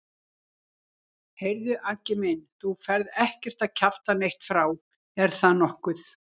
Heyrðu Aggi minn. þú ferð ekkert að kjafta neitt frá, er það nokkuð?